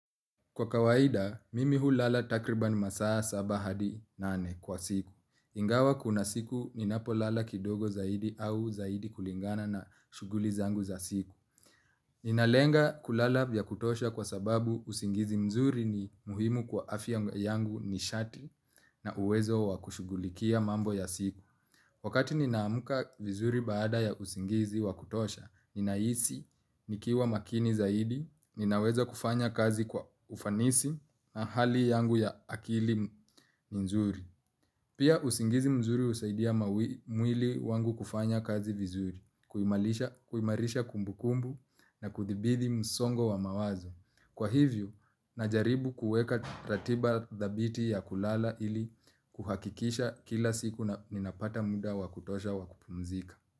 Kwa kawaida, mimi hulala takriban masaa saba hadi nane kwa siku. Ingawa kuna siku, ninapo lala kidogo zaidi au zaidi kulingana na shughuli zangu za siku. Inalenga kulala vya kutosha kwa sababu usingizi mzuri ni muhimu kwa afi yangu ni shati na uwezo wakushugulikia mambo ya siku. Wakati nina amka vizuri baada ya usingizi wakutosha, ninahisi, nikiwa makini zaidi, ninaweza kufanya kazi kwa ufanisi na hali yangu ya akili ni nzuri. Pia usingizi mzuri husaidia mwili wangu kufanya kazi vizuri, kuimarisha kumbukumbu na kuthibidhi msongo wa mawazo. Kwa hivyo, najaribu kueka ratiba dhabiti ya kulala ili kuhakikisha kila siku na ninapata muda wakutosha wakupumzika.